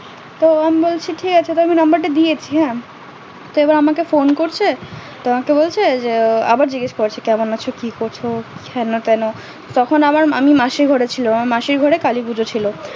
তো আমি বলছে ঠিক আছে তো আমি number টা দিয়েছি সে এবার আমাকে phone করছে আমাকে বলছে যে আবার জিজ্ঞাস করছে কেমন আছো কি করছো হেনোটেনো তখন আমার আমি মাসির ঘরে ছিলাম মাসির ঘরে কালীপুজো ছিল